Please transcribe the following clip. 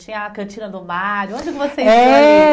Tinha a Cantina do Mário, onde vocês iam? É